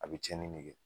A bɛ tiɲɛni ne kɛ